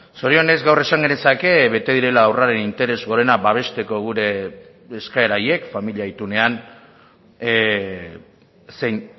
zorionez gaur esan genezake bete direla haurraren interes gorena babesteko gure eskaera horiek familia itunean zein